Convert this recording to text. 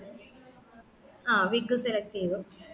ആ wig select ചെയ്‌തു